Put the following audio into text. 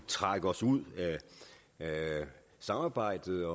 trække os ud af samarbejdet